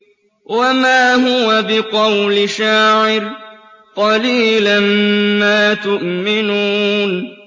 وَمَا هُوَ بِقَوْلِ شَاعِرٍ ۚ قَلِيلًا مَّا تُؤْمِنُونَ